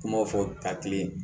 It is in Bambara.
Kumaw fɔ takite